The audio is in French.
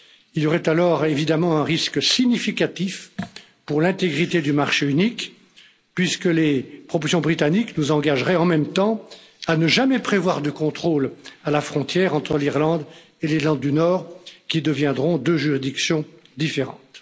Il y aurait alors, évidemment, un risque significatif pour l'intégrité du marché unique, puisque les propositions britanniques nous engageraient en même temps à ne jamais prévoir de contrôle à la frontière entre l'Irlande et l'Irlande du Nord, qui deviendront deux juridictions différentes.